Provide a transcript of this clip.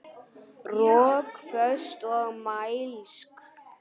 Rökföst og mælsk.